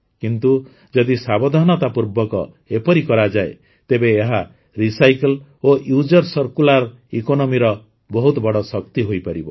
କିନ୍ତୁ ଯଦି ସାବଧାନତାପୂର୍ବକ ଏପରି କରାଯାଏ ତେବେ ଏହା ରିସାଇକଲ୍ ଓ ରିୟୁଜର ସର୍କୁଲାର୍ ଇକୋନୋମିର ବହୁତ ବଡ଼ ଶକ୍ତି ହୋଇପାରିବ